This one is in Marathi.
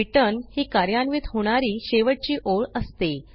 रिटर्न ही कार्यान्वित होणारी शेवटची ओळ असते